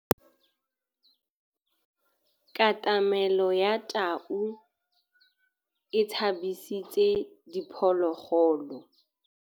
Katamêlô ya tau e tshabisitse diphôlôgôlô.